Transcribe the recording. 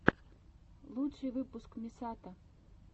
лучший выпуск мисато